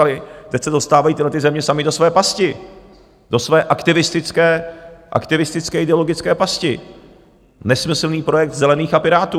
A teď se dostávají tyhlety země samy do své pasti, do své aktivistické ideologické pasti, nesmyslný projekt Zelených a Pirátů.